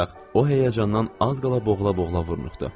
O həyəcandan az qala boğula-boğula vurnuxurdu.